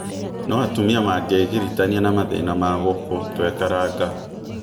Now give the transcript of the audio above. No atumia mangĩgiritania na mathĩna ma gũkũ tũĩkaraga.